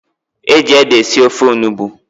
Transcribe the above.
E ji ede esi ofe onugbu.